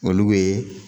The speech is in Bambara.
Olu bɛ